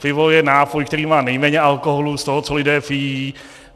Pivo je nápoj, který má nejméně alkoholu z toho, co lidé pijí.